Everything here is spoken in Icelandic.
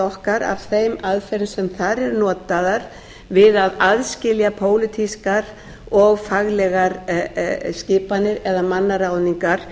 okkar af þeim aðferðum sem þar eru notaðar við að aðskilja pólitískar og faglegar skipanir eða mannaráðningar